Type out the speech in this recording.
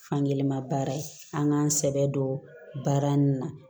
Fankelen ma baara an k'an sɛbɛ don baara nin na